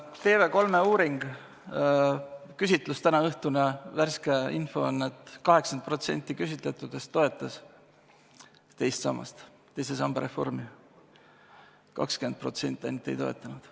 TV3 tänaõhtuse küsitluse värske info on, et 80% küsitletutest toetas teise samba reformi, 20% ainult ei toetanud.